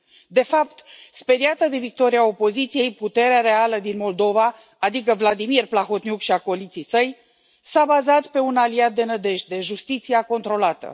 De fapt, speriată de victoria opoziției, puterea reală din Moldova, adică Vladimir Plahotniuc și acoliții săi, s a bazat pe un aliat de nădejde justiția controlată.